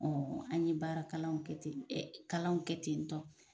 Ɔ an ye baara kalanw kɛ ten tɔ, kalan kɛ ten n tɔ.